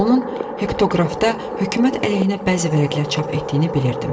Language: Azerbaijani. Onun hektoqrafda hökumət əleyhinə bəzi vərəqlər çap etdiyini bilirdim.